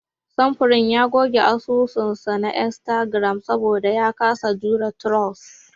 Samfurin ya goge asusun sa na Instagram saboda ya kasa jurewa trolls.